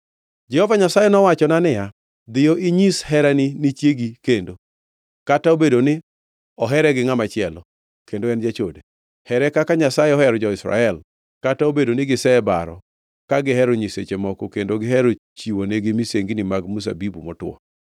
Jehova Nyasaye nowachona niya, “Dhiyo, inyis herani ni chiegi kendo, kata obedo ni ohere gi ngʼama chielo, kendo en jachode. Here kaka Nyasaye ohero jo-Israel, kata obedo ni gisebaro ka gihero nyiseche moko kendo gihero chiwonigi misengini mag mzabibu motwo.”